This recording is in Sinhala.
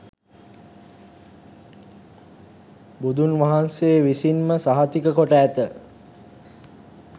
බුදුන්වහන්සේ විසින්ම සහතික කොට ඇත.